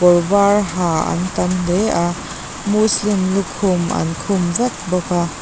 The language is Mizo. kawr var ha an tam hle a muslim lukhum an khum vek bawk a.